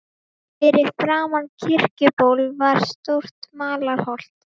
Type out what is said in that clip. Fyrir framan Kirkjuból var stórt malarholt.